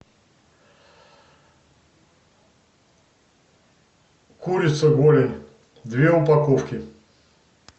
курица голень две упаковки